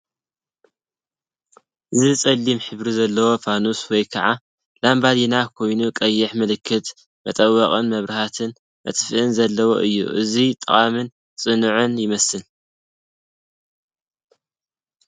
እዚ ጸሊም ሕብሪ ዘለዎ ፋኑስ ወይ ከዓ ላምባዲና ኮይኑ ቀይሕ ምልክትን መጠወቒን መብርህን መጥፍእን ዘለዎ እዩ። ኣዝዩ ጠቓምን ጽኑዕን ይመስል።